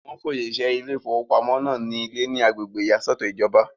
Wọ́n fún òṣìṣẹ́ ilé ìfowópamọ́ náà ní ilé ní agbègbè ìyàsọ́tọ̀ ìjọba.